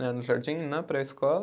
Né no jardim, na pré-escola.